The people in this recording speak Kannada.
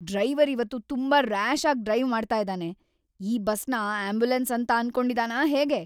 ಡ್ರೈವರ್ ಇವತ್ತು ತುಂಬಾ ರ್ಯಾಷ್ ಆಗಿ ಡ್ರೈವ್ ಮಾಡ್ತಾ ಇದಾನೆ. ಈ ಬಸ್‌ನ ಆಂಬ್ಯುಲೆನ್ಸ್ ಅಂತ ಅನ್ಕೊಂಡಿದಾನಾ ಹೇಗೆ?